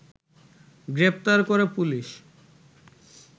গ্রেপ্তার করে পুলিশ